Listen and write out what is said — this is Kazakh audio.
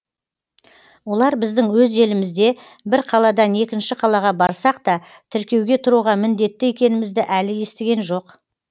олар біздің өз елімізде бір қаладан екінші қалаға барсақ та тіркеуге тұруға міндетті екенімізді әлі естіген жоқ